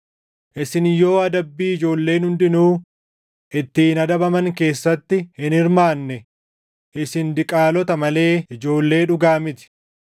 Isin yoo adabbii ijoolleen hundinuu ittiin adabaman keessatti hin hirmaanne isin diqaalota malee ijoollee dhugaa miti.